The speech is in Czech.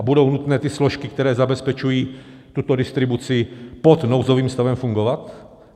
A budou nutné ty složky, které zabezpečují tuto distribuci, pod nouzovým stavem fungovat?